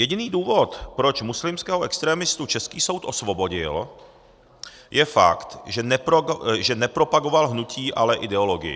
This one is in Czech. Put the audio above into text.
Jediný důvod, proč muslimského extremistu český soud osvobodil, je fakt, že nepropagoval hnutí, ale ideologii.